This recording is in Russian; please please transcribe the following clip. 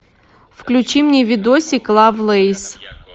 включи мне видосик лавлейс